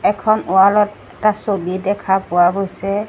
এখন ৱালত এটা ছবি দেখা পোৱা গৈছে।